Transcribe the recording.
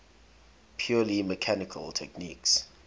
purely mechanical techniques